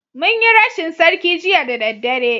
Mun yi rashin sarki Jiya da daddare